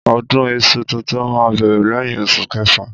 Ọdún iṣu tuntun ma bẹ̀rẹ̀ lẹ́hìn oṣù kefa.